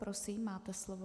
Prosím, máte slovo.